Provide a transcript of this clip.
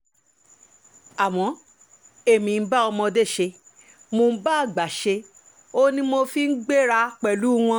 àmọ́ èmi ń bá ọmọdé ṣe mò ń bá àgbà ṣe òun ni mo fi ń gbéra pẹ̀lú wọn